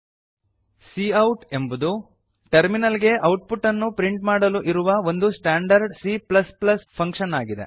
cout ಎಂಬುದು terminal ಗೆ output ಅನ್ನು ಪ್ರಿಂಟ್ ಮಾಡಲು ಇರುವ ಒಂದು ಸ್ಟಾಂಡರ್ಡ್ C ಫಂಕ್ಷನ್ ಆಗಿದೆ